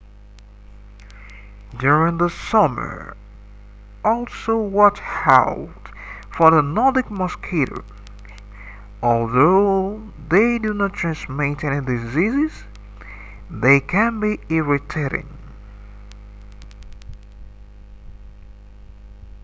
during the summer also watch out for the nordic mosquitoes although they do not transmit any diseases they can be irritating